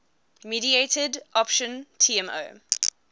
mediated option tmo